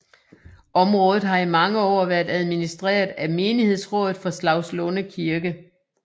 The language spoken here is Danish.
Området har i mange år været administreret af menighedsrådet for Slagslunde Kirke